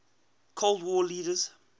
cold war leaders